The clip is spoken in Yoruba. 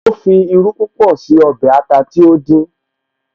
Ó fi irú púpọ̀ sí ọbẹ̀ ata tí ó dín